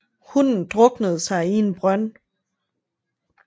Hunden druknede sig i en brønd